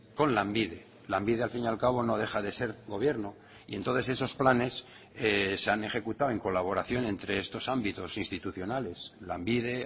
con lanbide lanbide al fin y al cabo no deja de ser gobierno y entonces esos planes se han ejecutado en colaboración entre estos ámbitos institucionales lanbide